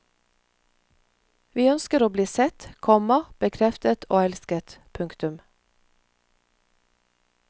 Vi ønsker å bli sett, komma bekreftet og elsket. punktum